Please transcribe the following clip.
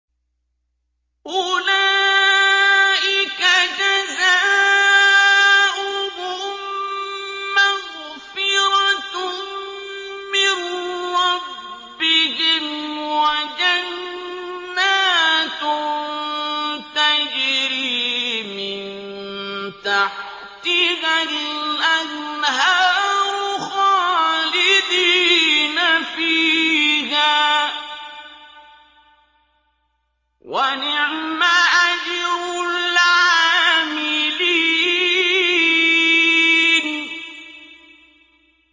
أُولَٰئِكَ جَزَاؤُهُم مَّغْفِرَةٌ مِّن رَّبِّهِمْ وَجَنَّاتٌ تَجْرِي مِن تَحْتِهَا الْأَنْهَارُ خَالِدِينَ فِيهَا ۚ وَنِعْمَ أَجْرُ الْعَامِلِينَ